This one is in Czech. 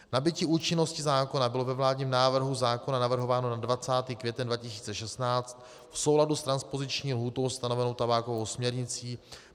Nabytí účinnosti zákona bylo ve vládním návrhu zákona navrhováno na 20. květen 2016 v souladu s transpoziční lhůtou stanovenou tabákovou směrnicí.